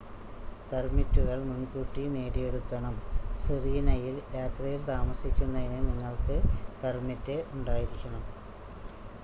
പെർമിറ്റുകൾ മുൻകൂട്ടി നേടിയെടുക്കണം സിറീനയിൽ രാത്രിയിൽ താമസിക്കുന്നതിന് നിങ്ങൾക്ക് പെർമിറ്റ് ഉണ്ടായിരിക്കണം